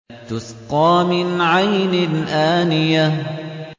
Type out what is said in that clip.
تُسْقَىٰ مِنْ عَيْنٍ آنِيَةٍ